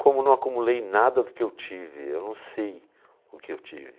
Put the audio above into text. Como não acumulei nada do que eu tive, eu não sei o que eu tive.